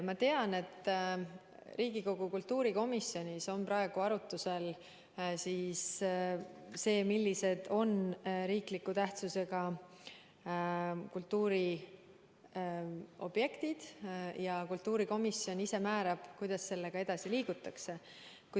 Ma tean, et Riigikogu kultuurikomisjonis on praegu arutusel, millised on riikliku tähtsusega kultuuriobjektid, ja kultuurikomisjon ise määrab, kuidas sellega edasi liigutakse.